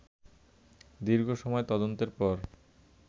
দীর্ঘসময় তদন্তের পর